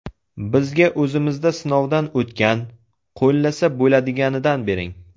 Bizga o‘zimizda sinovdan o‘tgan, qo‘llasa bo‘ladiganidan bering.